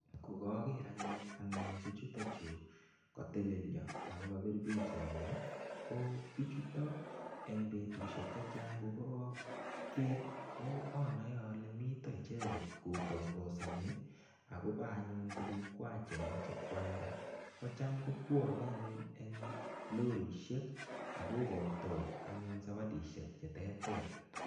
Ko koger anne anyun biichuto chu, katelelio ago kabir pichainik. Ko biichuto eng betusiek che chang ko anae ale mito icheget kotangosani agobo anyun tugukwai che moche kwalda. Kocham kobwane anyun eng lorisiek ak kokoitoi anyun sawadisiek che terter.